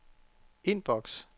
indboks